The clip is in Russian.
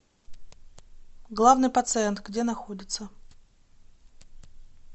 главный пациент где находится